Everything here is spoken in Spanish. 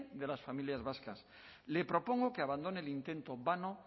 de las familias vascas le propongo que abandone el intento vano